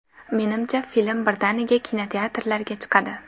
Menimcha film birdaniga kinoteatrlarga chiqadi.